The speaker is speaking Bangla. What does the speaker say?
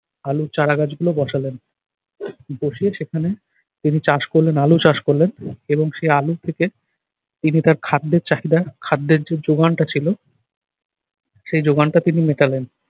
আলুর চারা গাছ গুলো বসালেন। বসিয়ে সেখানে তিনি চাষ করলেন আলু চাষ করলেন এবং সেই আলুর থেকে তিনি তার খাদ্যের চাহিদা খাদ্যের যে যোগানটা ছিল সেই যোগানটা তিনি মেটালেন।